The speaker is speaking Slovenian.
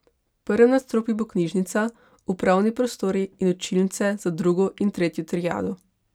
V prvem nadstropju bo knjižnica, upravni prostori in učilnice za drugo in tretjo triado.